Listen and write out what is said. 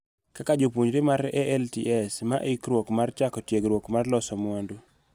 Kaka japuonjre mar alts ma ikruok mar chako tiegruok mar loso mwandu,